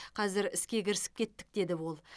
қазір іске кірісіп кеттік деді ол